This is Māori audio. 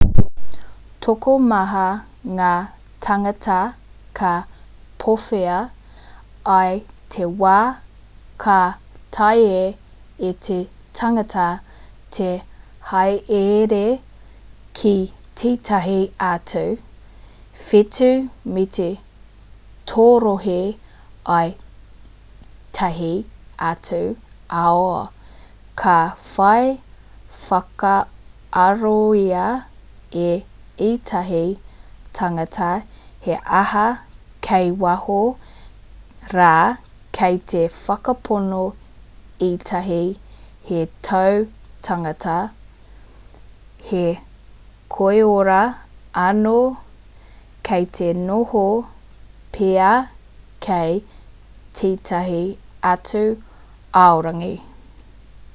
tokomaha ngā tāngata ka pōhewa i te wā ka taea e te tangata te hāereere ki tētahi atu whetū me te torohē i ētahi atu ao ka whai whakaarohia e ētahi tāngata he aha kei waho rā kei te whakapono ētahi he tautangata he koiora anō kei te noho pea kei tētahi atu aorangi